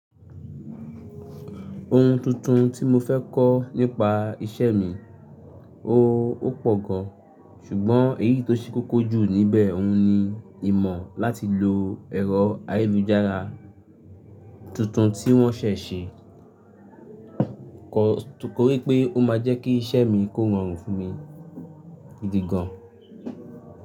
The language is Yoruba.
Ohun tuntun tí mo fẹ́ kọ́ nípa iṣẹ́ mi, ó- pọ̀ gan, ṣùgbọ́n èyí tó ṣe kókó jù níbẹ̀ oni ìmọ̀ láti lo ẹ̀rọ ayélujára tuntun tí wọ́n ṣẹ̀ ṣe, torí pé ó máa jẹ́ kí iṣẹ́ mi kó rọrùn fún mi gidi gan.